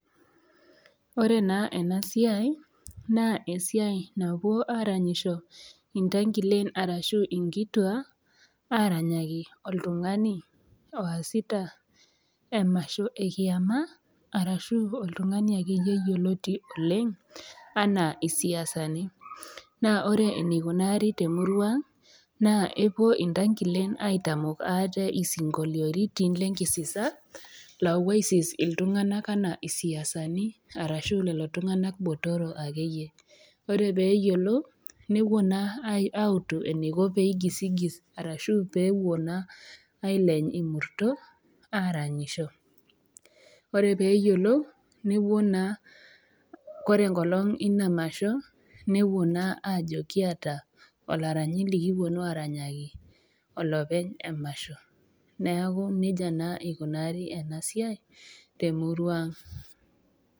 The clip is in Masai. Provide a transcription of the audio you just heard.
Ore naa ena siai, naa esiai napuo aaranyisho intangilen arashu inkituaa, aranyaki oltung'ani oasita emasho e kIama arashu oltung'ani ake iyie yioloti oleng' anaa isiasani, naa ore eneikunaari te emurua aang' naa epuo intangilen aitamok aate isinkoliotin le enkisisa lawo aisis iltung'ana anaa isiasani arashu lelo tung'ana botoro ake iyie, ore pee eyiolou newuoi naa autu eneiko pee eigosigis arashu pewuoi naa aileny imurto aranyisho, ore pee eyiolou newuoi naa ore enkolong Ina masho, newuoi naa ajo kiata olaranyi lekipuonu aranyaki olopeny emasho, neaku neija naa eikunaari ena siai te emurua aang'.